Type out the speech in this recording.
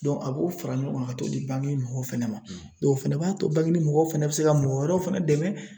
Dɔn a b'o fara ɲɔgɔn kan ka t'o di bangini mɔgɔw fɛnɛ ma dɔn ofɛnɛ b'a to bangini mɔgɔw fɛnɛ be se ka mɔgɔ wɛrɛw fɛnɛ dɛmɛ